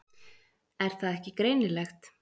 Er það ekki greinilegt?